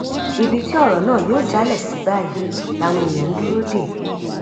ibi tí ọrọ náà yóò jálẹ sí báyìí làwọn èèyàn ń dúró dè